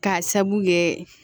K'a sabu kɛ